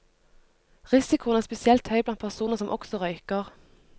Risikoen er spesielt høy blant personer som også røyker.